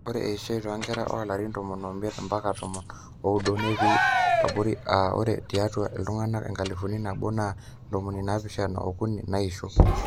ore eishoi toonkerra oolarin tomon oimiet mbaka tomon ooudo netii aborri aa ore tiatua iltung'anak enkalifu nabo naa ntomoni naapishana ookuni naaisho